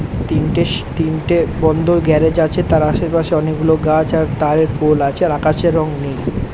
তিনটে তিনটে বন্ধ গ্যারেজ আছে তার আশেপাশে অনেকগুলো গাছ আর তারের পোল আছে। আর আকাশের রং নীল।